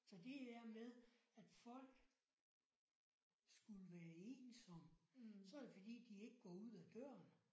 Så det er med at folk skulle være ensomme. Så er det fordi de ikke går ud af døren